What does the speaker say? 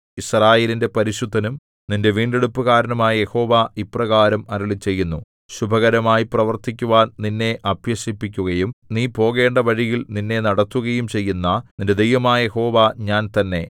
യിസ്രായേലിന്റെ പരിശുദ്ധനും നിന്റെ വീണ്ടെടുപ്പുകാരനുമായ യഹോവ ഇപ്രകാരം അരുളിച്ചെയ്യുന്നു ശുഭകരമായി പ്രവർത്തിക്കുവാൻ നിന്നെ അഭ്യസിപ്പിക്കുകയും നീ പോകേണ്ട വഴിയിൽ നിന്നെ നടത്തുകയും ചെയ്യുന്ന നിന്റെ ദൈവമായ യഹോവ ഞാൻ തന്നെ